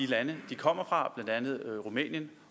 lande de kommer fra blandt andet rumænien